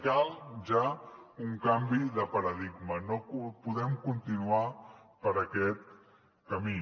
cal ja un canvi de paradigma no podem continuar per aquest camí